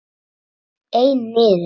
Einn niður!